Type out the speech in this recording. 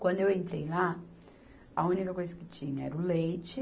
Quando eu entrei lá, a única coisa que tinha era o leite.